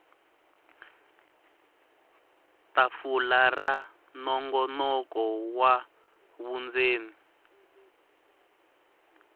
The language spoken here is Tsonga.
tafula ra nongonoko wa vundzeni